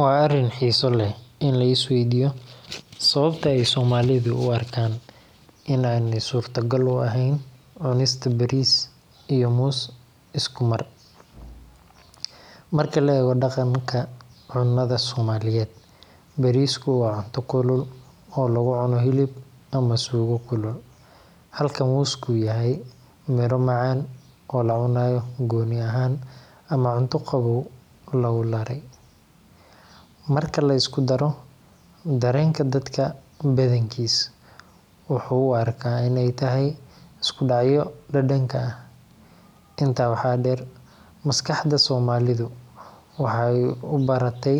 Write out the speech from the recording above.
Waa arin xiisa leh in lais weydiyo sababta aay somalida u arkaan inaay suurta gal eheen bariis iyo moos isku mar, marka la eego daqanka cunada somalida bariis waa cunto kulul oo lagu cuno hilib ama suugo kulul, halka mooska uu yahay mira macaan oo gooni ahaan ama cunto qaboow lagu dare, marka laisku fiiriyo dareenka dadka badankiis wuxuu arkaa inaay tahay isku dacyo dadanka ah, tan kale waxaa deer maskaxda somalida waxeey ubarate